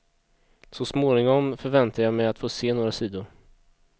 Så småningom förväntar jag mig att få se några sidor.